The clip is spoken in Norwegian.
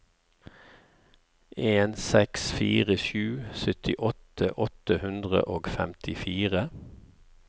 en seks fire sju syttiåtte åtte hundre og femtifire